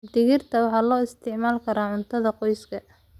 Digirta waxay loo isticmaali karaa cuntada qoyska.